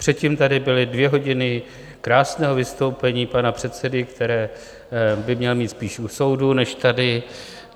Předtím tady byly dvě hodiny krásného vystoupení pana předsedy, které by měl mít spíš u soudu než tady.